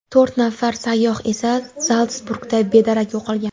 To‘rt nafar sayyoh esa Zaltsburgda bedarak yo‘qolgan.